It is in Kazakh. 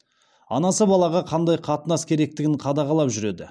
анасы балаға қандай қатынас керектігін қадағалап жүреді